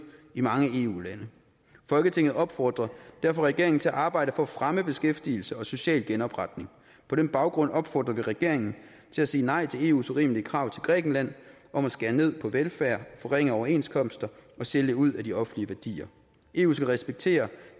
i mange eu lande folketinget opfordrer derfor regeringen til at arbejde for at fremme beskæftigelse og social genopretning på den baggrund opfordrer vi regeringen til at sige nej til eus urimelige krav til grækenland om at skære ned på velfærden forringe overenskomster og sælge ud af de offentlige værdier eu skal respektere